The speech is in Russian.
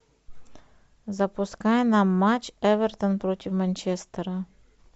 запускай нам матч эвертон против манчестера